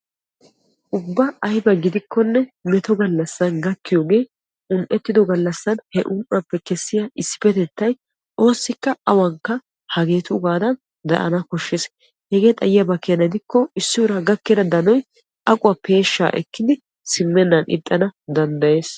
ubba ayiba gidikkonne meto gallassan gakkiyoge un"ettido gallassan he un"uwaappe kessiya issippetettay oossikka awankka hageetuugaadan daana koshshes. hegee xayiyaba keena gidikko issi uraa gakkida danoy aquwaa peeshshaa ekkidi simmennan ixxana danddayes.